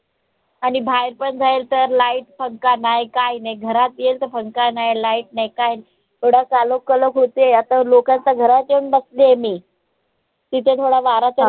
आणि बाहेर पण जाईल तर light पंखा नाई काय नाई घरात येईल तर पंखा नाई light नाई काय नाई एवढा कालवाकालव होतंय आता लोकांच्या घरात येऊन बसली आय मी तिथे थोडा वारा तरी